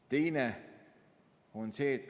Teine on see.